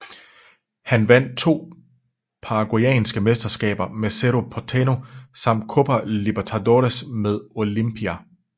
Han vandt to paraguayanske mesterskaber med Cerro Porteño samt Copa Libertadores med Olimpia